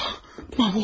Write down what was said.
Mən öldüm.